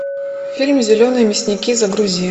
фильм зеленые мясники загрузи